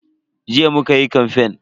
Jiya muka yi kamfen.